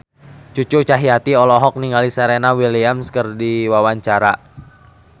Cucu Cahyati olohok ningali Serena Williams keur diwawancara